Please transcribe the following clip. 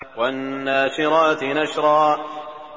وَالنَّاشِرَاتِ نَشْرًا